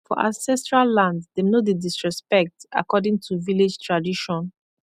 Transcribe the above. for ancestral land dem no dey disrespect according to village tradition